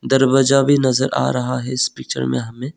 दरवाजा भी नजर आ रहा है इस पिक्चर में हमें।